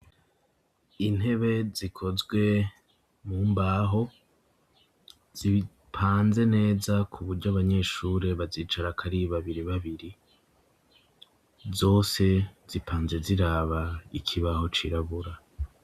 intebe zikozwe mumbaho zipanze neza kuburyo abanyeshuri bazicara kari babiri babiri zose zipanze ziraba ikibaho cirabura